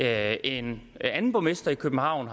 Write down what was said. er en anden borgmester i københavn